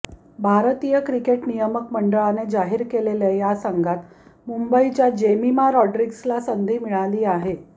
भारतीय क्रिकेट नियामक मंडळाने जाहीर केलेल्या या संघात मुंबईच्या जेमिमा रॉड्रीग्जला संधी मिळाली आहे